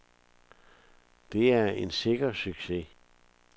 Det er en sikker succes.